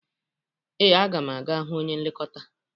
Ee, aga m aga hụ onye nlekọta